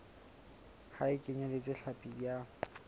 ha e kenyeletse hlapi ya